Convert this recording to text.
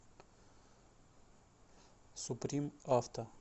суприм авто